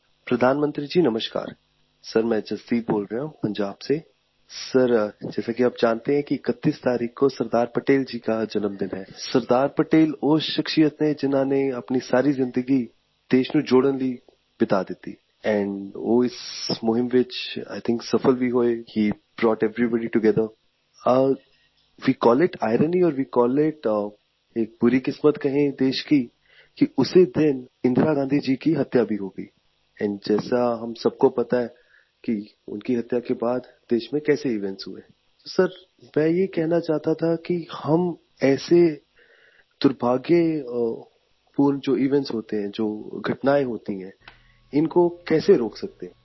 ਪ੍ਰਧਾਨ ਮੰਤਰੀ ਜੀ ਨਮਸਕਾਰ ਸਰ ਮੈਂ ਜਸਦੀਪ ਬੋਲ ਰਿਹਾ ਹਾਂ ਪੰਜਾਬ ਤੋਂ ਸਰ ਜਿਵੇਂ ਕਿ ਤੁਸੀਂ ਜਾਣਦੇ ਹੋ ਕਿ 31 ਤਰੀਕ ਨੂੰ ਸਰਦਾਰ ਪਟੇਲ ਦਾ ਜਨਮਦਿਨ ਹੈ ਸਰਦਾਰ ਪਟੇਲ ਉਹ ਸ਼ਖ਼ਸੀਅਤ ਹਨ ਜਿਨ੍ਹਾਂ ਨੇ ਆਪਣੀ ਸਾਰੀ ਜ਼ਿੰਦਗੀ ਦੇਸ਼ ਨੂੰ ਜੋੜਨ ਲਈ ਬਿਤਾ ਦਿੱਤੀ ਐਂਡ ਉਹ ਉਸ ਮੁਹਿੰਮ ਵਿੱਚ ਆਈ ਥਿੰਕ ਸਫਲ ਵੀ ਹੋਏ ਹੇ ਬ੍ਰਾਊਟ ਐਵਰੀਬਾਡੀ ਟੋਗੇਥਰ ਅਤੇ we call it irony or we call it ਇੱਕ ਬੁਰੀ ਕਿਸਮਤ ਕਹੀਏ ਦੇਸ਼ ਦੀ ਕਿ ਉਸ ਦਿਨ ਹੀ ਇੰਦਰਾ ਗਾਂਧੀ ਜੀ ਦੀ ਹੱਤਿਆ ਵੀ ਹੋ ਗਈ ਐਂਡ ਜਿਵੇਂ ਆਪਾਂ ਸਾਰਿਆਂ ਨੂੰ ਪਤਾ ਹੈ ਕਿ ਉਨ੍ਹਾਂ ਦੀ ਹੱਤਿਆ ਤੋਂ ਬਾਅਦ ਦੇਸ਼ ਵਿੱਚ ਕਿਵੇਂ ਈਵੈਂਟਸ ਹੋਏ ਸਰ ਮੈਂ ਇਹ ਕਹਿਣਾ ਚਾਹੁੰਦਾ ਸੀ ਕਿ ਅਸੀਂ ਅਜਿਹੇ ਬਦਕਿਸਮਤ ਜੋ ਈਵੈਂਟਸ ਹੁੰਦੇ ਹਨ ਜੋ ਘਟਨਾਵਾਂ ਹੁੰਦੀਆਂ ਹਨ ਇਨ੍ਹਾਂ ਨੂੰ ਕਿਵੇਂ ਰੋਕ ਸਕਦੇ ਹਾਂ